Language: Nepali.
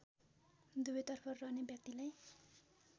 दुवैतर्फ रहने व्यक्तिलाई